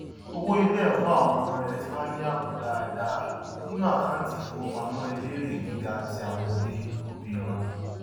owó iléẹkọ àwọn ọmọ rẹ ti wà ní ààbò dáadáa nínú àkáńtì ifowópamọ elérè gíga tí àwọn òbí òbí wọn